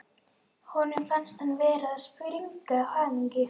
Honum fannst hann vera að springa af hamingju.